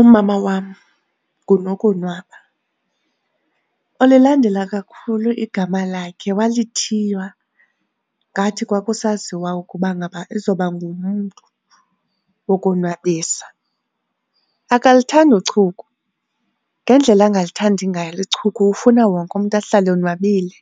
Umama wam nguNokonwaba, ulilandela kakhulu igama lakhe walithiywa ngathi kwakusaziwa ukuba ngaba izoba ngumntu wokonwabisa. Akalithandi uchuku, ngendlela angalithandi ngayo uchuku ufuna wonke umntu ahlale onwabile,